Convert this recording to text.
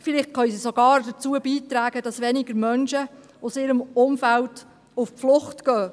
Vielleicht können sie sogar dazu beitragen, dass weniger Menschen aus ihrem Umfeld flüchten.